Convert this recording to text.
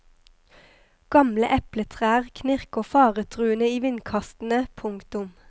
Gamle epletrær knirker faretruende i vindkastene. punktum